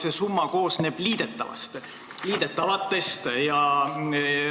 See summa koosneb liidetavatest.